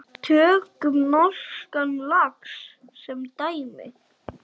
Tökum norskan lax sem dæmi.